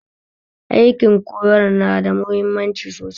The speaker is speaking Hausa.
Aikin koyar na da mahimmanci sosai